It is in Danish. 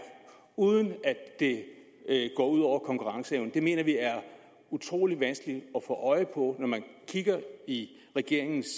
uden at det går ud over konkurrenceevnen det mener vi er utrolig vanskeligt at få øje på når man kigger i regeringens